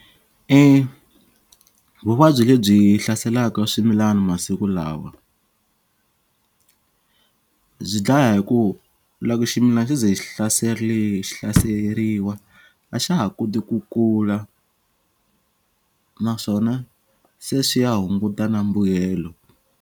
Vuvabyi lebyi hlaselaka swimilana masiku lawa byi dlaya hi ku loko ximilana xo ze xi hlaseriwa a xa ha koti ku kula naswona se swi ya hunguta na mbuyelo.